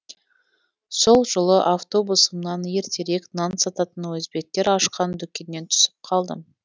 сол жолы автобусымнан ертерек нан сататын өзбектер ашқан дүкеннен түсіп қалдым